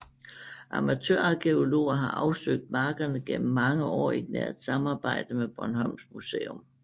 Amatørarkæologer har afsøgt markerne gennem mange år i et nært samarbejde med Bornholms Museum